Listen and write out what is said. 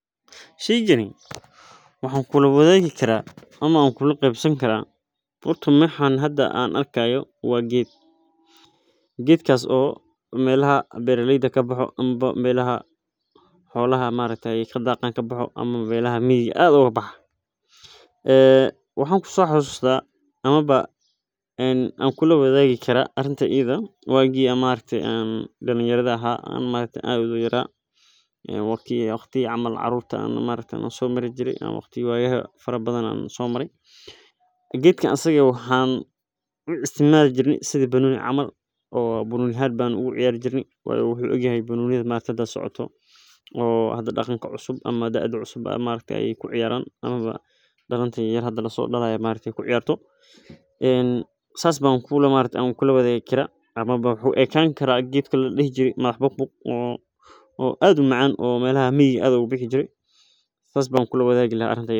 Sheygani waxaa uu leyahay waxaa waye waa shirkad weyn ayeey tusineysa meeshan waxaa waye sida loo sameeyo tababar kusaabsan badbaadada caruurta taas oo mujineyso muhiimada aay tahay qudaar taas oo mujineyso muhiimada aay ledahay waxaa laga yaaba inaay tahay meel badiyaha meelaha abaraha habkan.